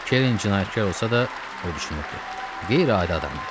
Kerin cinayətkar olsa da, o düşünürdü: Qeyri-adi adamdır.